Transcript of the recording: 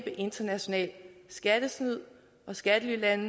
international skattesnyd og skattelylande